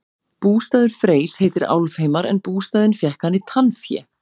bústaður freys heitir álfheimar en bústaðinn fékk hann í tannfé